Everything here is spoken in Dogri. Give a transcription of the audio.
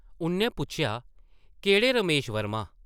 उʼन्नै पुच्छेआ, केह्ड़े रमेश वर्मा ?